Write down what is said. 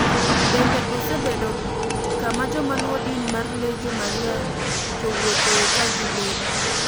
Bende osebedo kama joma luwo din mar Legion Maria jowuothoe ka gilemo,